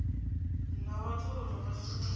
nga vhathu uri vha shumiswe